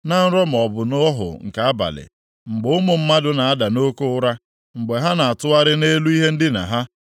Na nrọ maọbụ nʼọhụ nke abalị, mgbe ụmụ mmadụ na-ada nʼoke ụra, mgbe ha na-atụgharị nʼelu ihe ndina ha.